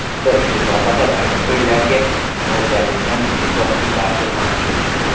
Bizda ushbu sohada bir necha yillarga mo‘ljallangan butun boshli dastur mavjud.